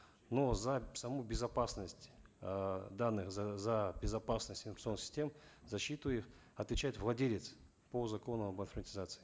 но за саму безопасность э данных за безопасность информационных систем защиту их отвечает владелец по закону об автоматизации